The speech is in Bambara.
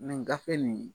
gafe nin